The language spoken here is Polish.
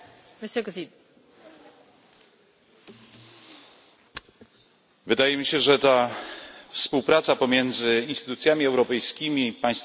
Wydaje mi się, że ta współpraca pomiędzy instytucjami europejskimi i państwami członkowskimi, ale w szczególności z parlamentami narodowymi, powinna być ściślejsza.